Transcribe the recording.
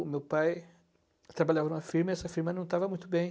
O meu pai trabalhava em uma firma e essa firma não estava muito bem.